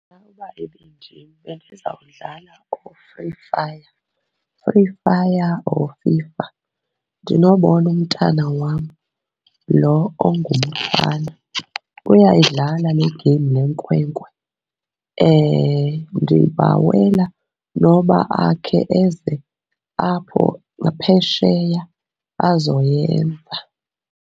Uba ibindim bendizawudlala ukuFree Fire, Free Fire or FIFA. Ndinobona umntana wam loo ongumfana uyayidlala legemu le nkwenkwe, ndibawela noba akhe eze apho ngaphesheya azoyenza.